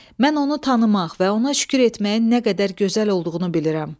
Mən onu tanımaq və ona şükür etməyin nə qədər gözəl olduğunu bilirəm.